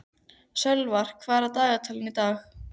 Sölvar, hvað er í dagatalinu í dag?